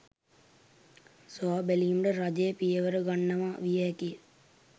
සොයා බැලීමට රජය පියවර ගන්නවා විය හැකිය.